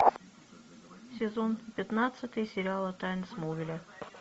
сезон пятнадцатый сериала тайны смолвиля